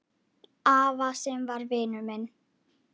Afa sem var vinur minn.